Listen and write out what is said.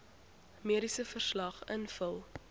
mediese verslag invul